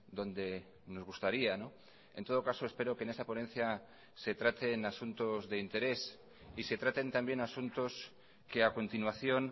donde nos gustaría en todo caso espero que en esa ponencia se traten asuntos de interés y se traten también asuntos que a continuación